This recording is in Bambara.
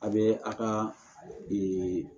A bɛ a ka